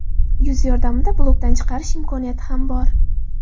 Yuz yordamida blokdan chiqarish imkoniyati ham bor.